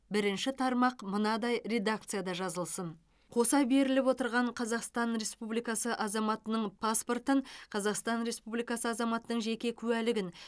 бірінші тармақ мынадай редакцияда жазылсын қоса беріліп отырған қазақстан республикасы азаматының паспортын қазақстан республикасы азаматының жеке куәлігін